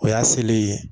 O y'a selen ye